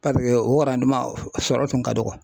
Paseke o sɔrɔ kun ka dɔgɔ.